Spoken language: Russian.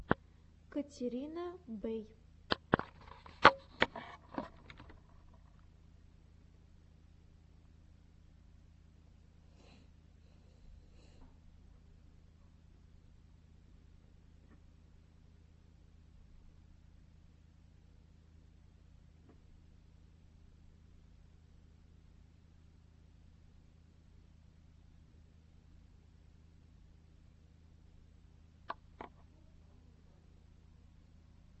катерина бэй